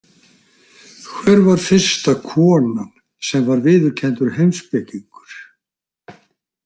Hver var fyrsta konan sem var viðurkenndur heimspekingur?